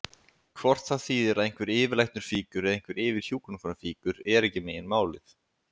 Hvort það þýðir að einhver yfirlæknir fýkur eða einhver yfirhjúkrunarkona fýkur er ekki meginmálið.